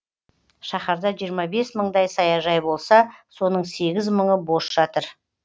шаһарда жиырма бес мыңдай саяжай болса соның сегіз мыңы бос жатыр